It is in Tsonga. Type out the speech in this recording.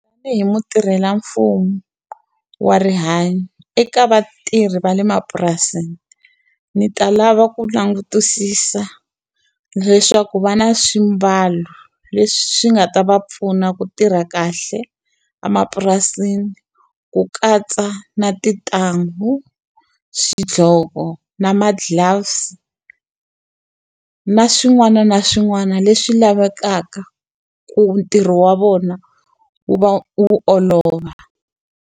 Tanihi mutirhelamfumo wa rihanyo, eka vatirhi va le mapurasini ndzi ta lava ku langutisisa leswaku va na swimbalo leswi nga ta va pfuna ku tirha kahle emapurasini. Ku katsa na tintanghu, swidlhoko, na ma-gloves, na swin'wana na swin'wana leswi lavekaka ku ntirho wa vona wu va wu olova.